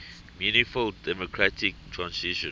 meaningful democratic transition